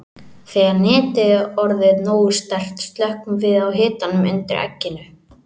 Þegar netið er orðið nógu sterkt slökkvum við á hitanum undir egginu.